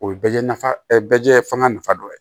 O ye bɛɛ nafa bɛɛ jɛn ye fɛn nafa dɔ ye